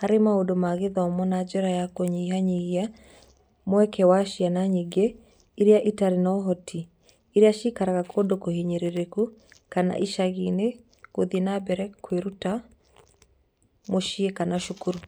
harĩ maũndũ ma gĩthomo na njĩra ya kũnyihanyihia mweke wa ciana nyingĩ iria itarĩ na ũhoti - iria ciikaraga kũndũ kũhinyĩrĩrĩku kana icagi-inĩ - gũthiĩ na mbere kwĩruta mũciĩ kana cukuru.